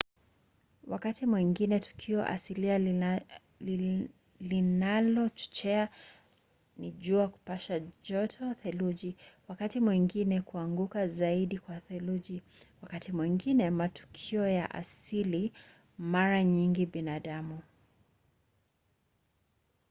wakati mwingine tukio asilia linalochochea ni jua kupasha joto theluji wakati mwingine kuanguka zaidi kwa theluji wakati mwingine matukio ya asili mara nyingi binadamu